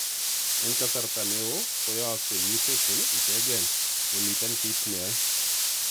En aksarta neo koyogsei mutations ichegen momiten kit neyoe.